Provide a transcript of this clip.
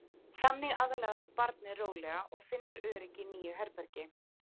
Þannig aðlagast barnið rólega og finnur öryggi í nýju herbergi.